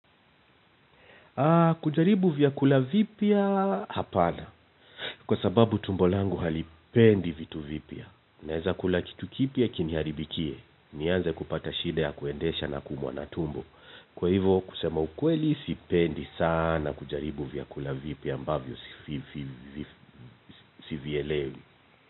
Kujaribu vyakula vipya, hapana. Kwa sababu tumbo langu halipendi vitu vipya. Naezakula kitu kipya kiniharibikie. Nianze kupata shida ya kuendesha na kuumwa na tumbo. Kwa hivo kusema ukweli sipendi sana kujaribu vyakula vipya ambavyo sivielewi.